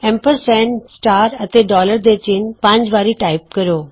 ampersand ਸਿਤਾਰਾ ਅਤੇ dollar ਦੇ ਚਿੰਨ੍ਹ ਪੰਜ ਵਾਰੀ ਟਾਈਪ ਕਰੋ